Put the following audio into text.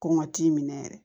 Kɔngɔ t'i minɛ yɛrɛ